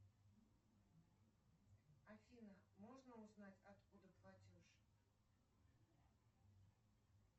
афина можно узнать откуда платеж